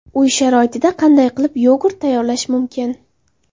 Uy sharoitida qanday qilib yogurt tayyorlash mumkin?